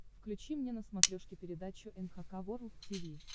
включи мне на смотрешке передачу эн эйч кей волд ти ви